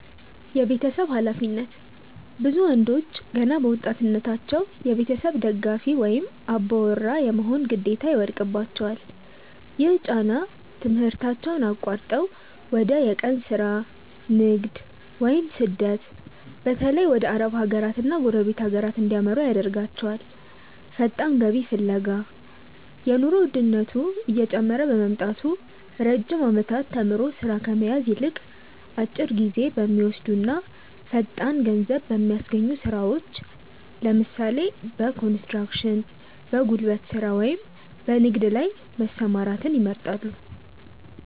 የቤተሰብ ኃላፊነት፦ ብዙ ወንዶች ገና በወጣትነታቸው የቤተሰብ ደጋፊ ወይም "አባወራ" የመሆን ግዴታ ይወድቅባቸዋል። ይህ ጫና ትምህርታቸውን አቋርጠው ወደ የቀን ሥራ፣ ንግድ ወይም ስደት (በተለይ ወደ አረብ ሀገራትና ጎረቤት ሀገራት) እንዲያመሩ ያደርጋቸዋል። ፈጣን ገቢ ፍለጋ፦ የኑሮ ውድነቱ እየጨመረ በመምጣቱ፣ ረጅም ዓመታት ተምሮ ሥራ ከመያዝ ይልቅ፣ አጭር ጊዜ በሚወስዱና ፈጣን ገንዘብ በሚያስገኙ ሥራዎች (ለምሳሌ፦ በኮንስትራክሽን፣ በጉልበት ሥራ ወይም በንግድ) ላይ መሰማራትን ይመርጣሉ።